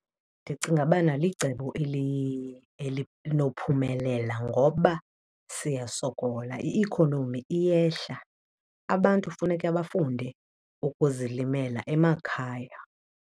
Ndicinga bana licebo elinophumelela ngoba siyasokola, i-ikhonomi iyehla. Abantu funeka bafunde ukuzilimela emakhaya.